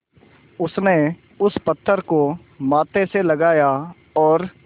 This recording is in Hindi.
उसने उस पत्थर को माथे से लगाया और